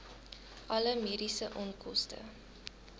alle mediese onkoste